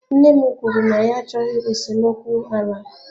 Nne m kwuru na ya achọghị esemokwu ala.